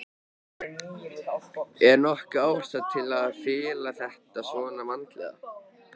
Er nokkur ástæða til að fela þetta svona vandlega?